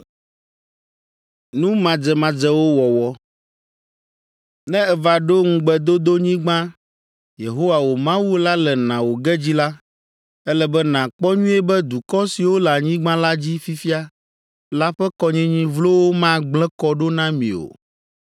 “Ne èva ɖo Ŋugbedodonyigba Yehowa wò Mawu la le na wò ge dzi la, ele be nàkpɔ nyuie be dukɔ siwo le anyigba la dzi fifia la ƒe kɔnyinyi vlowo magblẽ kɔ ɖo na mi o.